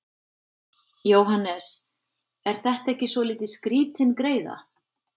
Jóhannes: Er þetta ekki svolítið skrítin greiða?